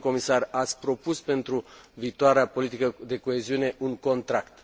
Domnule comisar, ați propus pentru viitoarea politica de coeziune un contract.